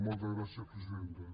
moltes gràcies presidenta